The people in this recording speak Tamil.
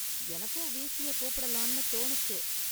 எனக்கும் வீஸியை கூப்பிடலாம்னு தோணுச்சு.